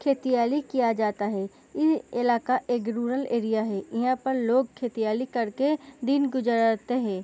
खेतीआली किया जाता है इ इलाका एक रूरल एरिया है इहां पर लोग खेतीआली करके दिन गुजरता है।